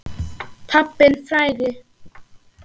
Pabbinn frægi.